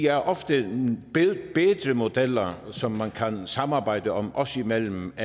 er ofte bedre modeller som man kan samarbejde om os imellem og